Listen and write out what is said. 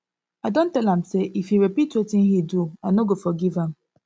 i don tell am say if he repeat wetin he do i no go forgive am